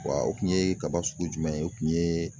Wa o kun ye kaba sugu jumɛn ye? O kun yee